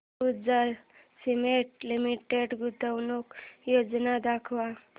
Ambuja cement limited गुंतवणूक योजना दाखव